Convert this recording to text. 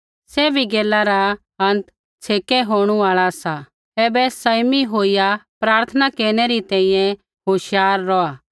सैभी गैला रा आखरी छ़ेकै होणु आल़ा सा ऐबै सँयमी होईया प्रार्थना केरनै री तैंईंयैं होशियार रौहा